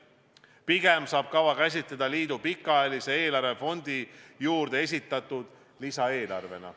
Pigem saab kava käsitleda liidu pikaajalise eelarve fondi juurde esitatud lisaeelarvena.